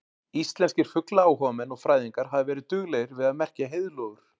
Íslenskir fuglaáhugamenn og fræðingar hafa verið duglegir við að merkja heiðlóur.